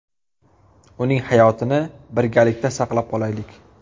Uning hayotini birgalikda saqlab qolaylik!.